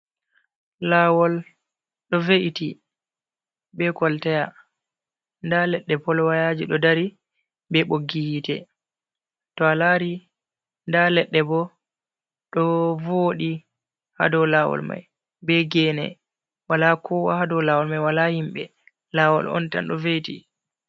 Lawol ɗo ve’iti be kolteya, nda ledde polwayaji ɗo dari be boggi hite, to a lari nda ledde bo do vodi hado lawol mai be gene wala kowa hadow lawol mai wala himɓe lawol ontan ɗo ve’iti.